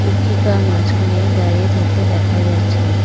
মাঝখানে দাঁড়িয়ে থাকতে দেখা যাচ্ছে।